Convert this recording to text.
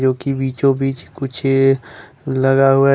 की बीचों बीच कुछ लगा हुआ--